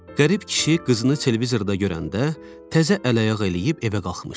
Qərib kişi qızını televizorda görəndə təzə əl ayaq eləyib evə qalxmışdı.